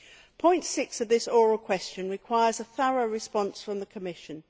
Paragraph 6 of this oral question requires a thorough response from the Commission.